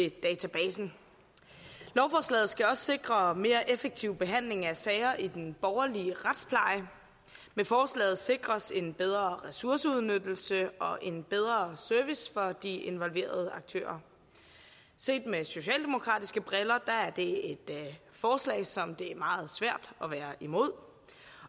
af databasen lovforslaget skal også sikre mere effektiv behandling af sager i den borgerlige retspleje med forslaget sikres en bedre ressourceudnyttelse og en bedre service for de involverede aktører set med socialdemokratiske briller er det et forslag som det er meget svært at være imod